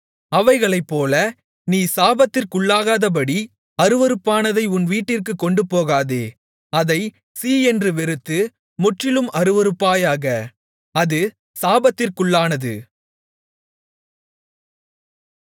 அவைகளைப்போல நீ சாபத்திற்குள்ளாகாதபடி அருவருப்பானதை உன் வீட்டிற்குக் கொண்டுபோகாதே அதைச் சீ என்று வெறுத்து முற்றிலும் அருவருப்பாயாக அது சாபத்திற்குள்ளானது